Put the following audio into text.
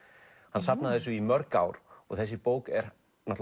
hann safnaði þessu í mörg ár og þessi bók er